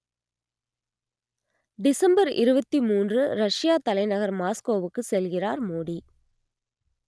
December இருபத்தி மூன்று Russia தலைநகர் மாஸ்கோவுக்கு செல்கிறார் மோடி